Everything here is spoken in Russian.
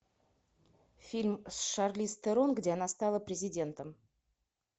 фильм с шарлиз терон где она стала президентом